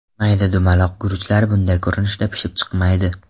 Mayda, dumaloq guruchlar bunday ko‘rinishda pishib chiqmaydi.